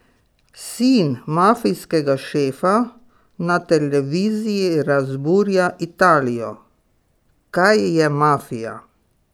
Sin mafijskega šefa na televiziji razburja Italijo: "Kaj je mafija?